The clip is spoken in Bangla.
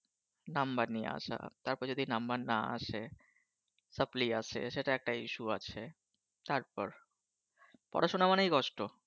Number নিয়ে আসা তারপর যদি Number না আসে Sharply আসে সেটা একটা Issue আছে তারপর পড়াশোনা মানেই কষ্ট